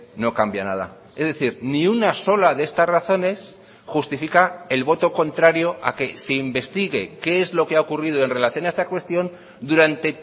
no cambia nada es decir ni una sola de estas razones justifica el voto contrario a que se investigue qué es lo que ha ocurrido en relación a esta cuestión durante